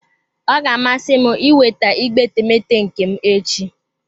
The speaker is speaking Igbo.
Ọ ga-amasị m ịnweta igbe etemeete nke m echi.